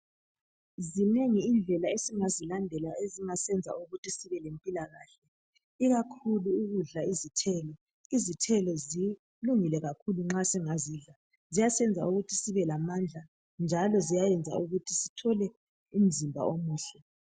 Zinengi indlela esingazilandela ezingasiyenza ukuthi sibelempilakahle. Ikakhulu ukudla izithelo. Izithelo zilungile kakhulu nxa singazidla. Ziyasenza ukuthi sibelamandla, njalo ziyayenza ukuthi sithole umzimba omuhle.